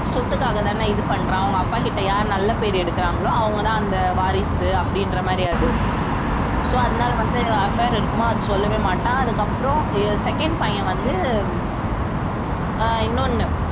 சொத்துக்காகதானே இது பண்றான் அவங்க அப்பாகிட்ட யாரு நல்ல பேரு எடுக்குறாங்களோ அவங்கதான் அந்த வாரிசு அப்படின்ற மாதிரி அது so அதனால வந்து affair இருக்குமா அதை சொல்லவே மாட்டான் அதுக்கப்புறம் அஹ் second பையன் வந்து அஹ் இன்னொன்னு